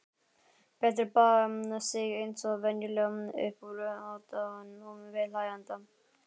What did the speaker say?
Berti baðaði sig eins og venjulega upp úr aðdáun viðhlæjenda.